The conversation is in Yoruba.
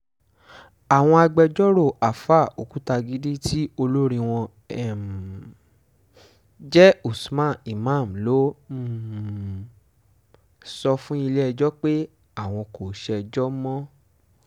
àwọn agbẹjọ́rò àáfà òkùtagídí tí olórí wọn um jẹ́ usman imam ló um sọ fún ilé-ẹjọ́ pé àwọn kò ṣèjọ mọ́